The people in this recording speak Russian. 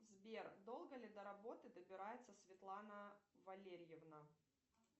сбер долго ли до работы добирается светлана валерьевна